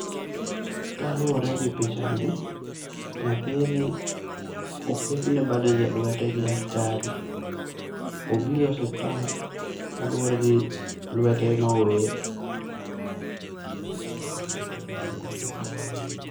Kaluwore gi picha ni nyathini oketne bandej e lwete gi daktari. Obiro e osiptal kaluwore ni lwete ne owil